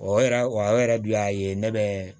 O yɛrɛ wa o yɛrɛ dun y'a ye ne bɛ